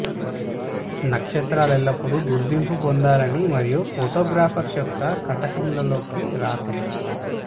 నక్షత్రాలు ఎల్లప్పుడూ గుర్తింపు పొందాలని మరియు ఫోటోగ్రాఫర్స్ యొక్క కటకములలోకి రాకూడదు